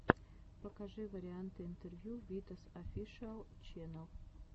покажи варианты интервью витас офишиал ченнэл